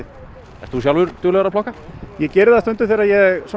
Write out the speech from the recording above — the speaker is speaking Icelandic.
ertu sjálfur duglegur að plokka ég geri það stundum þegar ég